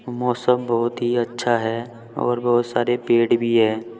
मौसम बहुत ही अच्छा है और बहुत सारे पेड़ भी है।